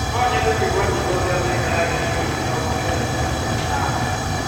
No nyende kũigua nyĩmbo cia mĩaka ya 1980?